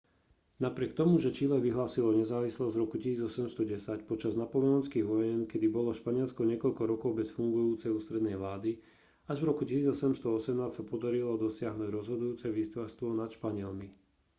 napriek tomu že čile vyhlásilo nezávislosť v roku 1810 počas napoleonských vojen kedy bolo španielsko niekoľko rokov bez fungujúcej ústrednej vlády až v roku 1818 sa podarilo dosiahnuť rozhodujúce víťazstvo nad španielmi